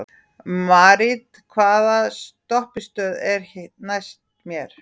Marit, hvaða stoppistöð er næst mér?